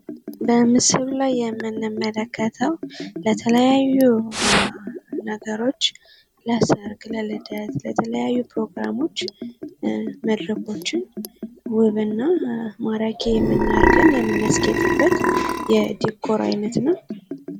በምስሉ ላይ የምንመለከተው ለተለያዩ ነገሮች ለሰርግ፣ ለልደት ፣ለተለያዩ ፕሮግራሞች መድረኮችን ውብ እና ማራኪ አድርገን የምናስጌጥበት የዲኮር አይነት ነው።